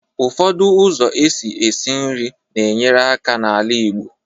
Ụfọdụ ụzọ esi eshi nri na-enyere aka n'ala igbo